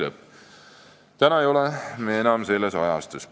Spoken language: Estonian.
" Praegu ei ole me enam selles ajastus.